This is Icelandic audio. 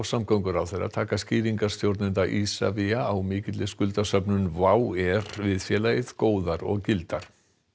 samgönguráðherra taka skýringar stjórnenda Isavia á mikilli skuldasöfnun WOW air við félagið góðar og gildar